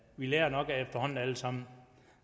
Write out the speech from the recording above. vi lærer det nok efterhånden alle sammen